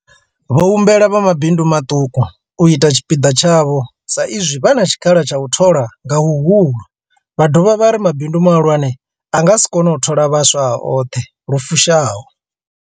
Vho humbela vha mabindu maṱuku u ita tshipiḓa tshavho sa izwi vha na tshikhala tsha u thola nga huhulu, vha dovha vha ri mabindu mahulwane a nga si kone u thola vhaswa a oṱhe lu fushaho.